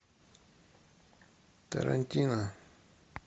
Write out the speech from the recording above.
тарантино